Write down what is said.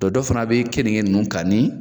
Dɔ dɔ fana bɛ keninge ninnu kan ni.